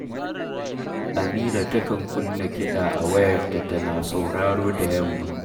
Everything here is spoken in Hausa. Amira takan kunna kiɗa a wayarta tana sauraro da yamma